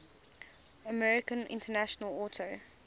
american international auto